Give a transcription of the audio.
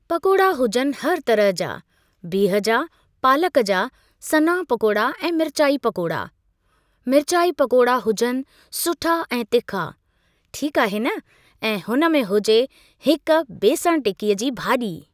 पकोड़ा हुजनि हर तरह जा, बीह जा, पालक जा, सना पकोड़ा ऐं मिर्चार्ई पकोड़ा, मिर्चार्ई पकोड़ा हुजनि सुठा ऐं तिखा, ठीक आहे न ऐ हुन में हुजे हिक बेसणु टिक्कीअ जी भाॼी।